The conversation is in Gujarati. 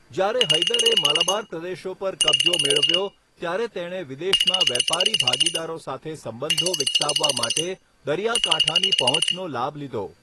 જ્યારે હૈદરે માલાબાર પ્રદેશો પર કબજો મેળવ્યો, ત્યારે તેણે વિદેશમાં વેપારી ભાગીદારો સાથે સંબંધો વિકસાવવા માટે દરિયાકાંઠાની પહોંચનો લાભ લીધો.